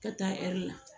Ka taa ɛri la